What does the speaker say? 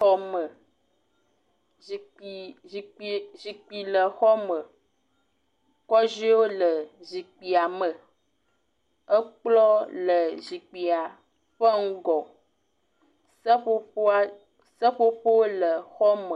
Xɔme, zikpui, zikpui, zikpui le xɔ me. Kɔdzoewo le zikpuia me, kplɔ̃ le zikpuia ƒe ŋgɔ. Seƒoƒoa soƒoƒo le xɔme.